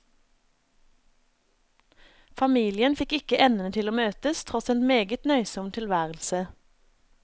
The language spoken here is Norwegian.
Familien fikk ikke endene til å møtes, tross en meget nøysom tilværelse.